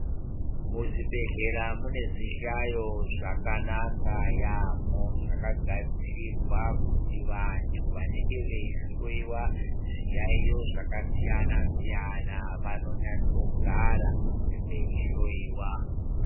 Muzvibhedhlera mune zvihlayo zvakanaka yambo zvakagadzirirwa kuti vantu vanenge veyi hloyiwa zviyaiyo zvakasiyana siyana vanonyatso gara vei hloyiwa.